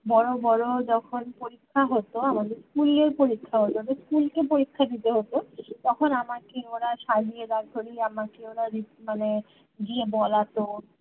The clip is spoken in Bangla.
বড় বড় যখন পরীক্ষা হতো আমাদের school এই পরীক্ষা হতো school কে পরীক্ষা দিতে হতো তখন আমার ওরা সাজিয়ে দাড় করিয়ে আমাক ওরা মানে দিয়ে বলাতো